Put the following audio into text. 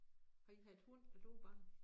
Har I haft hund da du var barn?